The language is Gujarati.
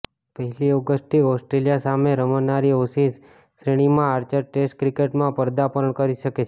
પહેલી ઓગસ્ટથી ઓસ્ટ્રેલિયા સામે રમાનારી એશિઝ શ્રેણીમાં આર્ચર ટેસ્ટ ક્રિકેટમાં પદાર્પણ કરી શકે છે